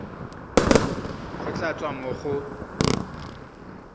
go tla tswa mo go